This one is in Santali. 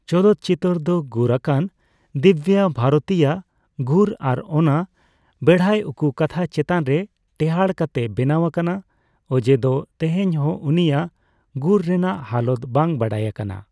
ᱪᱚᱞᱚᱛ ᱪᱤᱛᱟᱹᱨ ᱫᱚ ᱜᱩᱨ ᱟᱠᱟᱱ ᱫᱤᱵᱽᱵᱟ ᱵᱷᱟᱨᱚᱛᱤᱭᱟᱜ ᱜᱩᱨ ᱟᱨ ᱚᱱᱟ ᱵᱮᱲᱦᱟᱭ ᱩᱠᱩ ᱠᱟᱛᱷᱟ ᱪᱮᱛᱟᱱ ᱨᱮ ᱴᱮᱦᱟᱰ ᱠᱟᱛᱮ ᱵᱮᱱᱟᱣ ᱟᱠᱟᱱᱟ, ᱚᱡᱮ ᱫᱚ ᱛᱮᱦᱮᱧ ᱦᱚᱸ ᱩᱱᱤᱭᱟᱜ ᱜᱩᱨ ᱨᱮᱱᱟᱜ ᱦᱟᱞᱚᱛ ᱵᱟᱝ ᱵᱟᱰᱟᱭ ᱟᱠᱟᱱᱟ ᱾